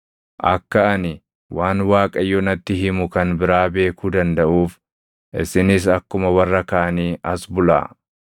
Akka ani waan Waaqayyo natti himu kan biraa beekuu dandaʼuuf isinis akkuma warra kaanii as bulaa.”